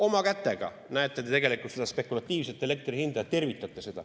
Oma kätega, näete, te tegelikult seda spekulatiivset elektri hinda tervitate.